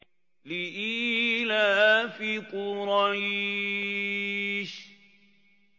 لِإِيلَافِ قُرَيْشٍ